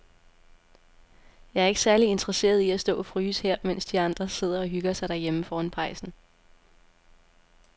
Jeg er ikke særlig interesseret i at stå og fryse her, mens de andre sidder og hygger sig derhjemme foran pejsen.